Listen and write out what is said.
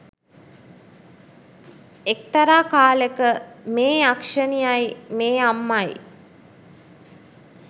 එක්තරා කාලෙක මේ යක්ෂණියයි මේ අම්මයි